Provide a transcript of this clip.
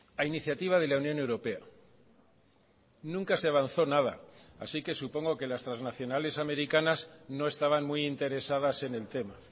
a iniciativa de la unión europea nunca se avanzó nada así que supongo que las transnacionales americanas no estaban muy interesadas en el tema